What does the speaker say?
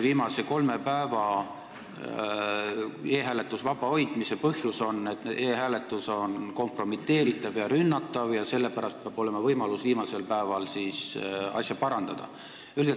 Viimase kolme päeva e-hääletusest vaba hoidmise põhjus on see, et e-hääletus on kompromiteeritav ja rünnatav, sellepärast peab olema võimalus viimasel päeval asja parandada.